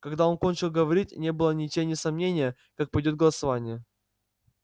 когда он кончил говорить не было ни тени сомнения как пойдёт голосование